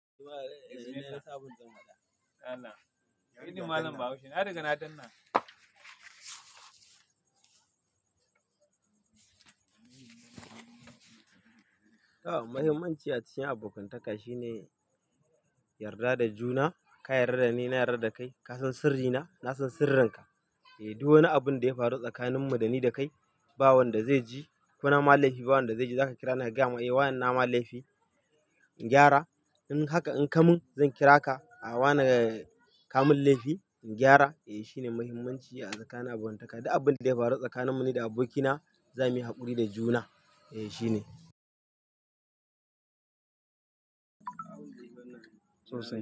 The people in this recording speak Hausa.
Muhimmanci a cikin abokantaka shine yarda da juna, ka yarda da ni, na yarda da kai. Ka san sirrina, na san sirrinka. Duk wani abin da ya faru tsakanin mu, da ni da kai, ba wanda zai ji. Ko nama laifi, ba wanda zai ji. Zaka kira ni ka gaya min wane nama laifi, in gyara. In haka in kamun, zan kira ka, wane kamun laifi, in gyara. Eh, shine muhimmanci a tsakanin abokantaka. Duk abin da ya faru tsakanin mu ni da abokina, za muyi haƙuri da juna. Eh shine. Sosai.